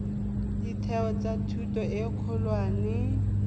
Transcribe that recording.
ditheo tsa thuto e kgolwane